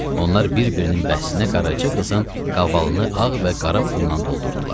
Onlar bir-birinin bəhsinə Qaraca qızın qavalını ağ və qara pulla doldurdular.